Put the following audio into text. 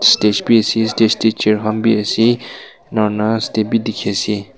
stage bi ase stage tey chair khan bi ase ina huina step bi dikhi ase.